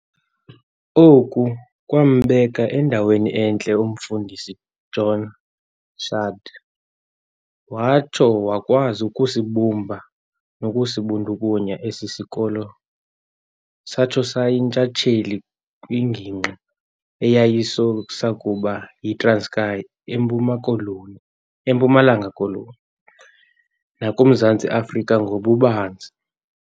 Oku kwaambeka endaweni entle umfundisi uJohn shand watsho wakwazi ukusibumba nokusibundukunya esi sikolo satho sayintshatheli kwingingqi eyayisakuba yiTranskei, eMpuma-koloni eMpumalanga-koloni, nakuMzantsi Afrika ngobubanzi.